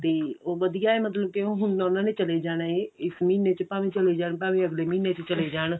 ਤੇ ਉਹ ਵਧੀਆਂ ਹੈ ਮਤਲਬ ਕੇ ਹੁਣ ਉਹਨਾ ਨੇ ਚਲੇ ਜਾਣਾ ਇਸ ਮਹੀਨੇ ਵਿੱਚ ਭਾਵੇਂ ਚਲੇ ਜਾਣ ਭਾਵੇਂ ਅਗਲੇ ਮਹੀਨੇ ਚ ਚਲੇ ਜਾਣ